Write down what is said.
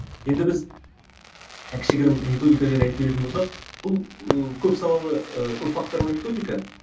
енді біз кішігірім методика жайлы айтып кететін болсақ бұл ы көп салалы ыыы көп факторлы методика